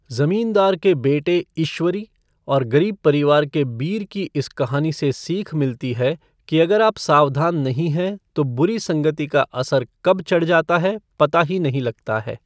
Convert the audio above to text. जमींदार के बेटे ईश्वरी और ग़रीब परिवार के बीर की इस कहानी से सीख मिलती है कि अगर आप सावधान नहीं हैं तो बुरी संगति का असर कब चढ़ जाता है, पता ही नहीं लगता है।